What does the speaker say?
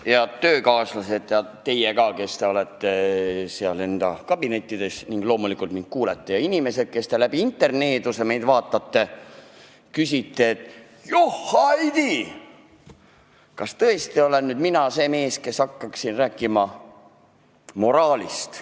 Head töökaaslased, sh ka teie, kes te olete oma kabinettides ja loomulikult mind kuulate, ja inimesed, kes te läbi interneeduse meid jälgite ja küsite, et johhaidii, kas tõesti olen mina see mees, kes hakkab siin moraalist rääkima!